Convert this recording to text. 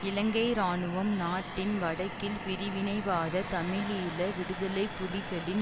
இலங்கை இராணுவம் நாட்டின் வடக்கில் பிரிவினைவாத தமிழீழ விடுதலை புலிகளின்